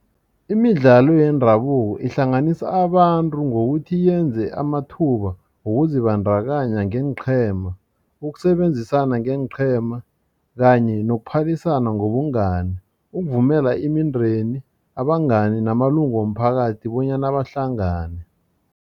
Imidlalo yendabuko ihlanganisa abantu ngokuthi yenze amathuba ngokuzibandakanya ngeenqhema ukusebenzisana ngeenqhema kanye nokuphalisana ngobungani ukuvumela imindeni abangani namalungu womphakathi bonyana bahlangane.